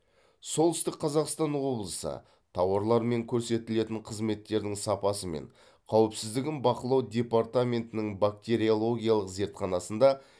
солтүстік қазақстан облысы тауарлар мен көрсетілетін қызметтердің сапасы мен қауіпсіздігін бақылау департаментінің бактериологиялық зертханасында